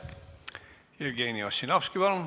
Jevgeni Ossinovski, palun!